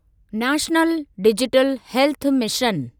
national digital health mission